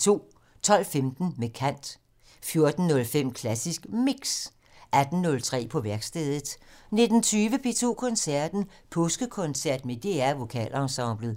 12:15: Med kant 14:05: Klassisk Mix 18:03: På værkstedet 19:20: P2 Koncerten - Påskekoncert med DR Vokalensemblet